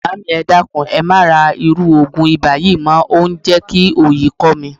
Maami, e dakun, e ma ra iru ogun iba yii mo. O n je ki oyi ko mi.